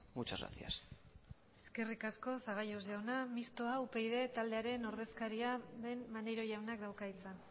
muchas gracias eskerrik asko zaballos jauna mistoa upyd taldearen ordezkaria den maneiro jaunak dauka hitza